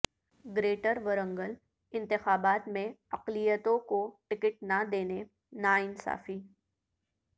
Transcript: greater Warangal انتخابات میں اقلیتوں کو ٹکٹ نہ دینے ناانصافی